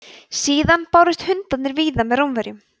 síðan bárust hundarnir víða með rómverjum